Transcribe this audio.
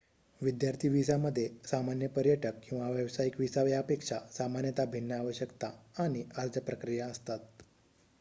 विद्यार्थी व्हिसामध्ये सामान्य पर्यटक किंवा व्यावसायीक व्हिसा यापेक्षा सामान्यत भिन्न आवश्यकता आणि अर्ज प्रक्रिया असतात